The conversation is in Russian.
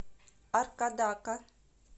аркадака